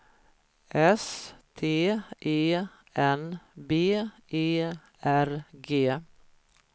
S T E N B E R G